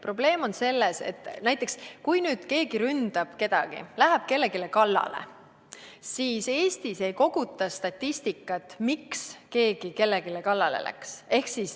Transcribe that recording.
Probleem on selles, et näiteks kui keegi ründab kedagi, läheb kellelegi kallale, siis Eestis ei koguta statistikat, miks keegi kellelegi kallale läks.